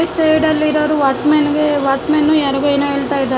ನೀಡಲಿರುವರು watchman ಗೆ watchman ಯಾರಿಗೂ ಏನು ಹೇಳ್ತ ಇದ್--